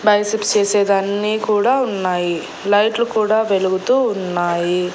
Biceps చేసేదన్నీ కూడా ఉన్నాయి లైట్లు కూడా వెలుగుతూ ఉన్నాయి.